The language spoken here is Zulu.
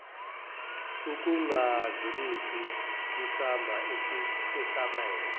ukungadlulisi kusamba esabelwe